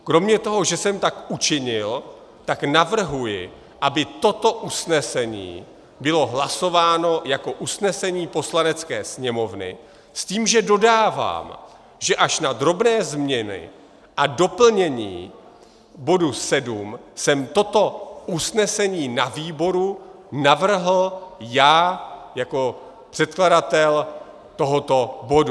Kromě toho, že jsem tak učinil, tak navrhuji, aby toto usnesení bylo hlasováno jako usnesení Poslanecké sněmovny, s tím, že dodávám, že až na drobné změny a doplnění bodu 7 jsem toto usnesení na výboru navrhl já jako předkladatel tohoto bodu.